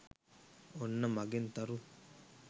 ඔන්න මගෙන් තරු